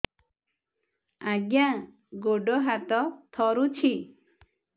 ଆଜ୍ଞା ଗୋଡ଼ ହାତ ଥରୁଛି